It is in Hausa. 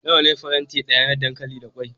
Nawa ne faranti daya na dankali da kwai?